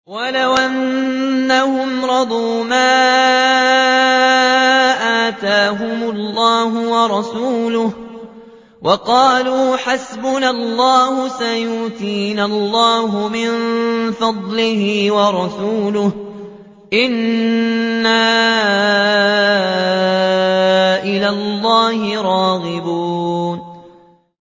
وَلَوْ أَنَّهُمْ رَضُوا مَا آتَاهُمُ اللَّهُ وَرَسُولُهُ وَقَالُوا حَسْبُنَا اللَّهُ سَيُؤْتِينَا اللَّهُ مِن فَضْلِهِ وَرَسُولُهُ إِنَّا إِلَى اللَّهِ رَاغِبُونَ